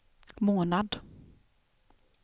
månad